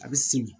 A bɛ simi